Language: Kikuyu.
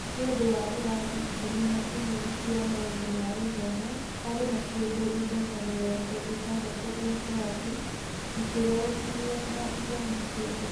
Nĩ ũndũ wa ĩrathi ikũmi na ĩmwe cia maũndũ ma gĩthomo, harĩ na kĩndũ indo ta mĩrongo ĩtandatũ o kĩrathi, ikĩgayũkanio na ithomo ciothe.